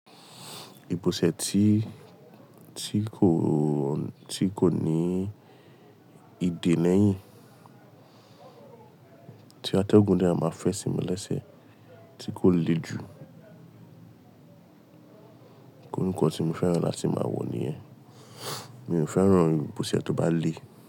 Ìbòsẹ̀ tí, tí kò! Ti ko ní ìdè lẹ́yìn, tí atẹ́gùn de máa fẹ́ sí mi lẹ́sẹ̀ tí kò le ju. Iru nkan tí mo fẹ́ràn láti máa wọ̀ níyẹn. Mi ò fẹ́ràn ìbòsẹ̀ tó bá le.